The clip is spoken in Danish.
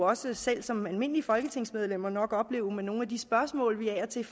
også selv som almindelige folketingsmedlemmer opleve med nogle af de spørgsmål vi af og til